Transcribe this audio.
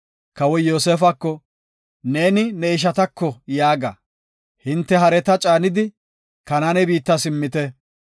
Kawoy Yoosefako, “Neeni ne ishatako yaaga; hinte hareta caanidi, Kanaane biitta simmite.